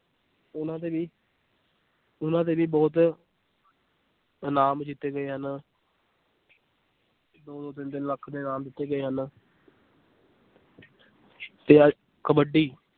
ਉਹਨਾਂ ਤੇ ਵੀ ਉਹਨਾਂ ਤੇ ਵੀ ਬਹੁਤ ਇਨਾਮ ਜਿੱਤਦੇ ਹਨ ਦੋ ਦੋ ਤਿੰਨ ਤਿੰਨ ਲੱਖ ਦੇ ਇਨਾਮ ਦਿੱਤੇ ਗਏ ਹਨ ਕਬੱਡੀ